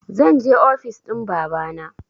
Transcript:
Zanje ofis ɗin babana